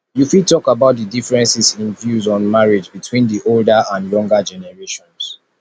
you fit talk about di differences in in views on marriage between di older and younger generations